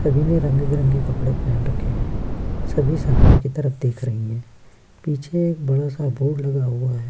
सभी ने रंग-बिरंगे कपड़े पहन रखे हैं सभी सामने की तरफ़ देख रही हैं। पीछे एक बड़ा सा बोर्ड लगा हुआ है।